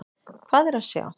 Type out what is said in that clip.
Hvað er að sjá?